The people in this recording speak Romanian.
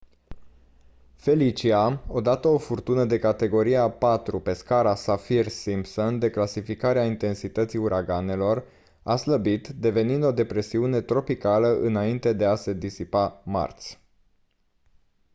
felicia odată o furtună de categoria 4 pe scara saffir-simpson de clasificare a intensității uraganelor a slăbit devenind o depresiune tropicală înainte de a se disipa marți